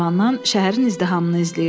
Eyvandan şəhərin izdihamını izləyirdi.